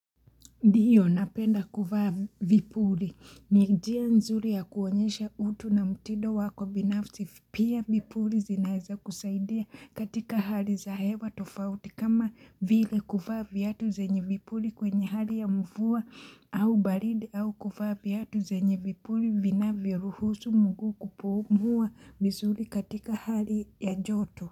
Ndiyo napenda kufaa vipuri. Ni njia nzuri ya kuonyesha utu na mtindo wako binafsi. Pia vipuri zinaeza kusaidia katika hali za hewa tofauti kama vile kufaa vyatu zenye vipuri kwenye hali ya mvua au balidi au kuvaa vyatu zenye vipuri vina viruhusu mguu kupumua vizuri katika hali ya joto.